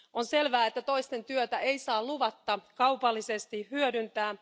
On selvää, että toisten työtä ei saa luvatta kaupallisesti hyödyntää.